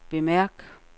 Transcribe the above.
bemærk